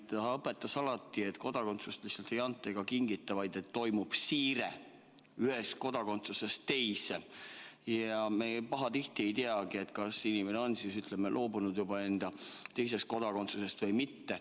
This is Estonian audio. Ta õpetas alati, et kodakondsust ei anta ega kingita, vaid toimub siire ühest kodakondsusest teise ja me pahatihti ei teagi, kas inimene on loobunud enda teisest kodakondsusest või mitte.